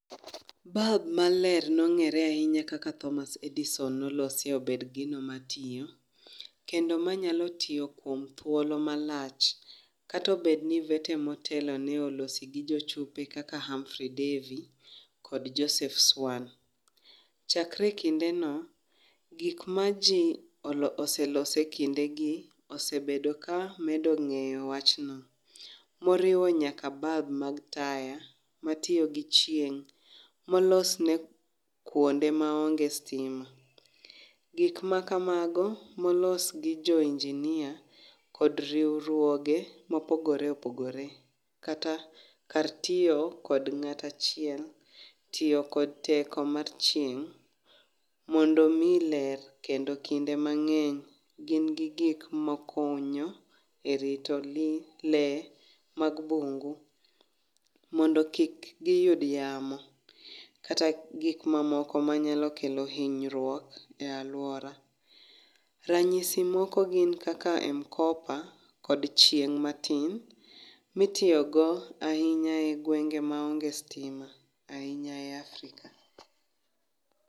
Balb maler nong'ere ahinya kaka Thomas Edison nolosi obed gino matiyo, kendo manyalo tiyo kuom thuolo malach. Katobed ni vete motelo ne olosi go jochope kaka Humfrey Devy kod Joseph Swan. Chakre e kinde no, gik ma ji oseloso e kinde gi osebedo ka medo ng'eyo wach no. Moriwo nyaka balb mag taya, matiyo gi chieng', molos ne kuonde maonge stima. Gik ma kamago molos ne jo injinia, kod riwruoge mopogore opogore. Kata kar tiyo kod ng'atachiel, tiyo kod teko mar chieng' mondo miyi ler. Kendo kinde mang'eny gin gi gik ma konyo e rito li, le mag bungu mondo kik giyud yamo. Kata gik mamoko manyalo kelo hinyruok e alwora. Ranyisi moko gin kakak Mkopa kod chieng' matin, mitiyogo ahinya e gwenge maonge stima ahinya e Afrika.